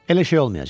Elə şey olmayacaq.